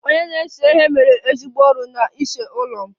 Onye na-ese ihe mere ezigbo ọrụ n'ịse ụlọ m